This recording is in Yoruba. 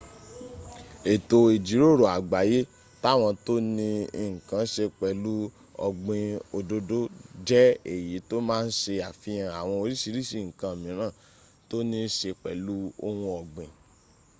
ètò ìjíròrò àgbáyé tàwọn tó ní nǹkan se pẹ̀lú ọ̀gbìn òdòdó jẹ́ èyí tó má ń se àfihàn àwọn orísìírísìí nǹkan mìíràn tó níí se pẹ̀lú ohun ọ̀gbìn